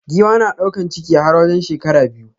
Giwa na daukan ciki har wajen shekara biyu.